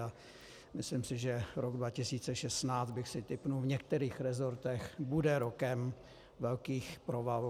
A myslím si, že rok 2016, bych si tipl, v některých rezortech bude rokem velkých provalů.